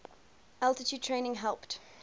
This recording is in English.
altitude training helped